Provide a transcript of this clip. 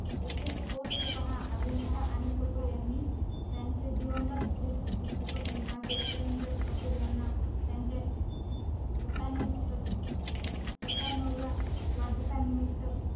येथे post पहा अभिनेता अनिल कपूर यांनी त्यांचे दिवंगत चित्रपट निर्माते सुरिनदर कपूर यांना त्यांचे सत्त्याण्णवव्या वाढदिवसानिमित्त